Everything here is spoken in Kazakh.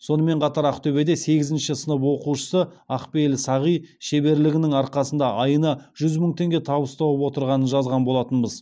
сонымен қатар ақтөбеде сегізінші сынып оқушысы ақпейіл сағи шеберлігінің арқасында айына жүз мың теңге табыс тауып отырғанын жазған болатынбыз